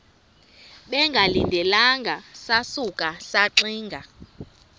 bengalindelanga sasuka saxinga